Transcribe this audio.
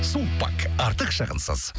сулпак артық шығынсыз